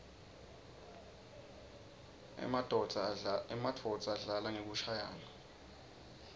emanuodza adlala ngekushayaua